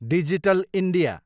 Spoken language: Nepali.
digital India